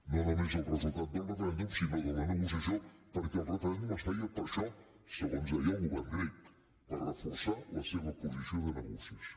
no només el resultat del referèndum sinó de la negociació perquè el referèndum es feia per això segons deia el govern grec per reforçar la seva posició de negociació